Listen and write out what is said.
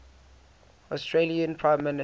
australian prime minister